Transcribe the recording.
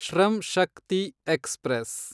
Shram Shakti express